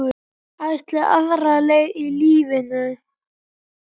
Ætlaði aðra leið í lífinu.